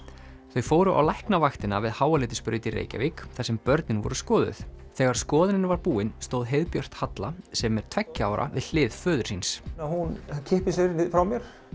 þau fóru á Læknavaktina við Háaleitisbraut í Reykjavík þar sem börnin voru skoðuð þegar skoðunin var búin stóð heiðbjört Halla sem er tveggja ára við hlið föður síns hún kippir sér frá mér